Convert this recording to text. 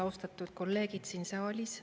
Austatud kolleegid siin saalis!